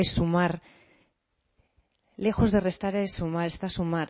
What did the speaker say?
es sumar lejos de restar es sumar es para sumar